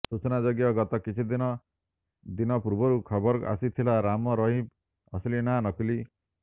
ସୂଚନାଯୋଗ୍ୟ ଗତ କିଛିଦିନ ଦିନ ପୂର୍ବରୁ ଖବର ଆସିଥିଲା ରାମ ରହିମ ଅସଲି ନାଁ ନକଲି